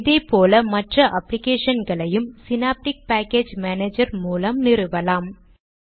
இதே போல மற்ற அப்ளிகேஷன்களையும் ஸினாப்டிக் பேக்கேஜ் மானேஜர் மூலம் நிறுவலாம்